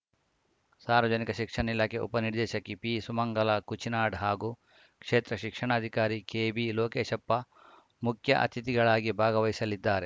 ಸಾರ್ವಜನಿಕ ಶಿಕ್ಷಣ ಇಲಾಖೆ ಉಪನಿರ್ದೇಶಕಿ ಪಿಸುಮಂಗಲಾ ಕುಚಿನಾಡ್‌ ಹಾಗೂ ಕ್ಷೇತ್ರ ಶಿಕ್ಷಣಾಧಿಕಾರಿ ಕೆಬಿ ಲೋಕೇಶಪ್ಪ ಮುಖ್ಯ ಅತಿಥಿಗಳಾಗಿ ಭಾಗವಹಿಸಲಿದ್ದಾರೆ